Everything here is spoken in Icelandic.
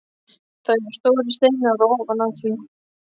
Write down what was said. Það eru stórir steinar ofan á því.